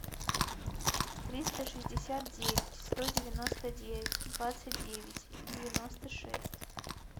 триста шестьдесят девять сто девяносто девять двадцать девять девяносто шесть